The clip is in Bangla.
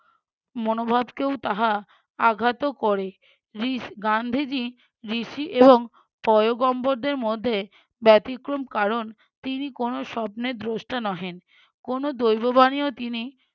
মনোভাবকেও তাহা আঘাত করে রিস~ গান্ধীজী ঋষি এবং পয়গম্বরদের মধ্যে ব্যতিক্রম কারণ তিনি কোনো স্বপ্নের দ্রষ্টা নহেন কোনো দৈব বাণীও তিনি